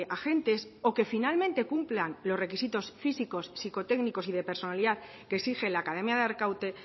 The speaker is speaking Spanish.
agentes o que finalmente cumplan los requisitos físicos psicotécnicos y de personalidad que exige la academia de arkaute